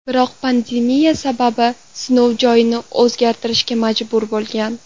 Biroq pandemiya sabab sinov joyini o‘zgartirishga majbur bo‘lgan.